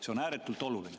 See on ääretult oluline.